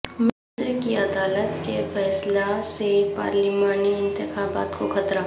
مصر کی عدالت کے فیصلہ سے پارلیمانی انتخابات کو خطرہ